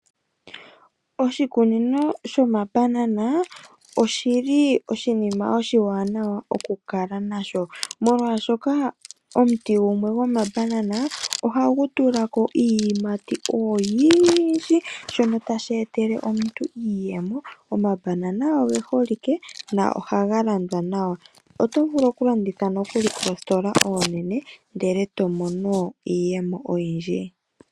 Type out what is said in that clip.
Oshikunino shoma banana oshili oshinima oshiwaanawa okukala nasho molwaashoka omuti gumwe goma banana ohagu tulako iiyimati oyindji. Shono tasheetele omuntu iiyemo, omabanana ogeholike na ohagalandwa nawa. Otovulu okulanditha nokuli koositola oonene ndele tomono iiyemo oyindji.